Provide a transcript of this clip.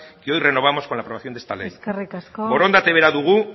que hoy renovamos con la aprobación de esta ley eskerrik asko borondate bera dugu